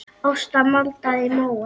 Ásta maldaði í móinn.